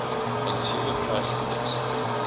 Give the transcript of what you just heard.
consumer price index